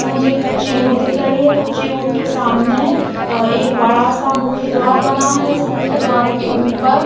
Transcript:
मुझे एक कच्ची रूट दिख रही है कच्ची रूट के सामने एक बड़ा सा मुख्य द्वार बना है इस मुख्य द्वार के ऊपर--